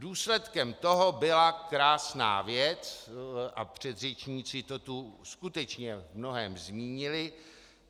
Důsledkem toho byla krásná věc, a předřečníci to tu skutečně v mnohém zmínili.